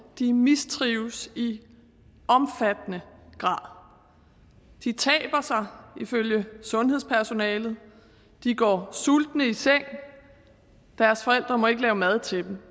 de mistrives i omfattende grad de taber sig ifølge sundhedspersonalet de går sultne i seng deres forældre må ikke lave mad til dem